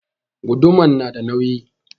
Guduman na da nauyi